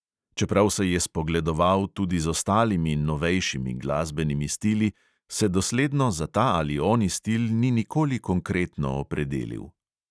Čeprav se je spogledoval tudi z ostalimi novejšimi glasbenimi stili, se dosledno za ta ali oni stil ni nikoli konkretno opredelil.